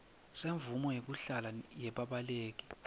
semvumo yekuhlala yebabaleki